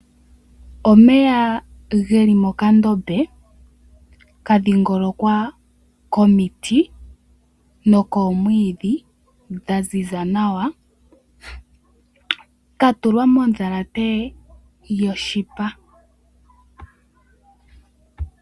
Omeya geli mokandombe kadhingolokwa komiti nokoomwiidhi dha ziza nawa, katulwa mondhalate yoshipa.